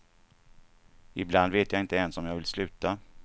Ibland vet jag inte ens om jag vill sluta.